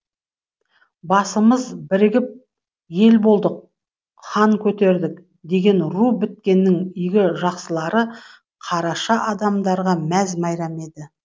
басымыз бірігіп ел болдық хан көтердік деген ру біткеннің игі жақсылары қараша адамдарға мәз мейрам еді